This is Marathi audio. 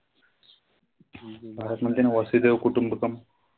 भारत म्हणतं ना वसुधेव कुटुंबकम.